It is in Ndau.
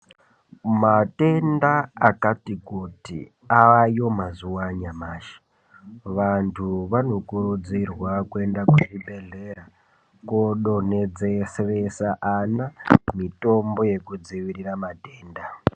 Matenda akati kuti ayo mazuwa anyamashi vantu vanokurudzirwa kuenda kuzvibhedhlera kodonhodzeresa ana mitombo yekudzivirira matenda.